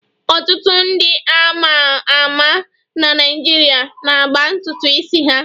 Ọtụtụ ndị a ma ama na Naịjirịa na-agba ntutu isi ha